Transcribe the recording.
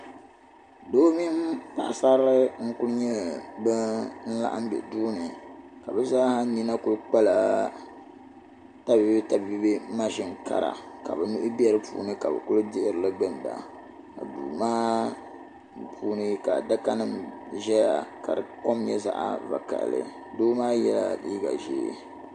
Doo mini paɣasarili n kuli laɣim m be duuni ka bɛ zaa sa nina kuli kpala tabiibi mashini kara ka bɛ nuhi be di puuni ka bi kuli dihiri li n ginda ka duu maa puuni ka adakanim ʒeya ka di kom nye zaɣvakaɣali do maa yela liiga ʒee.